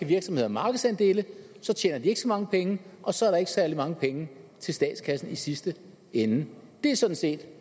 virksomheder markedsandele så tjener de ikke så mange penge og så er der ikke særlig mange penge til statskassen i sidste ende det er sådan set